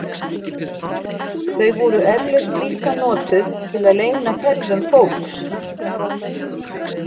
Þau voru eflaust líka notuð til að leyna ferðum fólks.